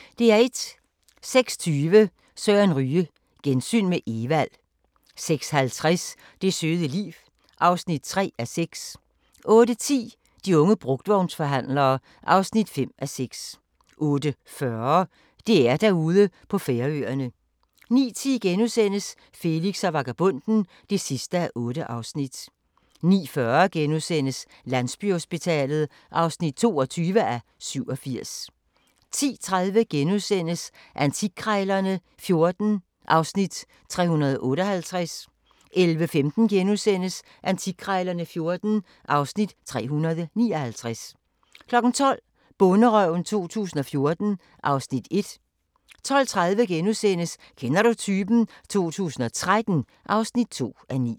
06:20: Søren Ryge: Gensyn med Evald 06:50: Det søde liv (3:6) 08:10: De unge brugtvognsforhandlere (5:6) 08:40: DR-Derude på Færøerne 09:10: Felix og vagabonden (8:8)* 09:40: Landsbyhospitalet (22:87)* 10:30: Antikkrejlerne XIV (Afs. 358)* 11:15: Antikkrejlerne XIV (Afs. 359)* 12:00: Bonderøven 2014 (Afs. 1) 12:30: Kender du typen? 2013 (2:9)